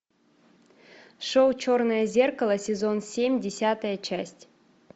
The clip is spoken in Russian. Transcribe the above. шоу черное зеркало сезон семь десятая часть